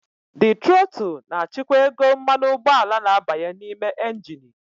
The trotul na-achịkwa ego mmanụ ụgbọala na-abanye n'ime engini.